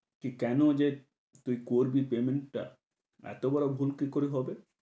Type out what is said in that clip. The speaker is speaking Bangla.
কী কেন যে তুই করবি payment টা এত বড় ভুল কি করে হবে?